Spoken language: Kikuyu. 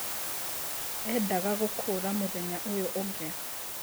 Endaga gũkũra mũthenya ũyu ũngĩ.